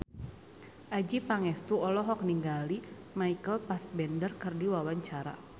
Adjie Pangestu olohok ningali Michael Fassbender keur diwawancara